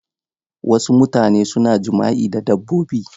Wasu mutane suna jima'i da dabbobi.